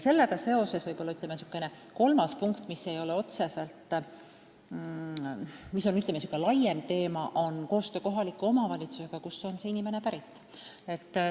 Sellega on seotud kolmas punkt, mis on, ütleme, laiem teema, nimelt koostöö kohaliku omavalitsusega – sellega, kust inimene pärit on.